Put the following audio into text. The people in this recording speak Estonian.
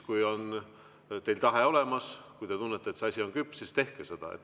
Kui teil on tahe olemas, kui te tunnete, et see asi on küps, siis tehke seda.